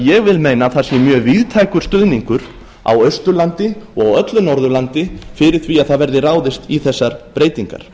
ég vil meina að það sé mjög víðtækur stuðningur á austurlandi og á öllu norðurlandi fyrir því að það verði ráðist í þessar breytingar